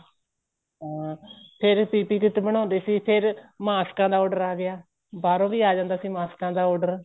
ਹਾਂ ਫ਼ੇਰ PPE kit ਬਣਾਉਦੇ ਸੀ ਫ਼ੇਰ ਮਾਸ੍ਕਾ ਦਾ order ਆ ਗਿਆ ਬਾਹਰੋ ਵੀ ਆ ਜਾਂਦਾ ਸੀ ਮਾਸ੍ਕਾ ਦਾ order